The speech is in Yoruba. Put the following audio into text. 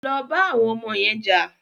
Lọ bá àwọn ọmọ yẹn jà!